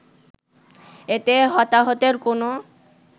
এতে হতাহতের কোনো